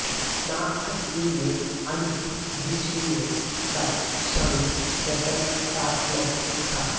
महाभारत युग में अंधकवृष्णियों का संघ गणतंत्रात्मक था